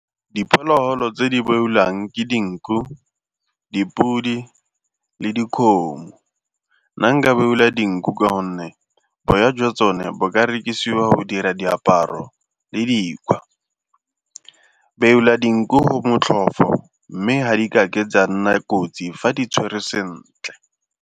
Diphologolo tse di beolwang ke dinku, dipodi le dikgomo. Nna nka beola dinku ka gonne boya jwa tsone bo ka rekisiwa go dira diaparo le dikgwa. Beola dinku motlhofo mme ha di ka ke tsa nna kotsi fa di tshwerwe sentle.